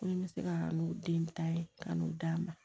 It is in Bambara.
Ko ni n bɛ se ka n'o den ta ye ka n'o d'a ma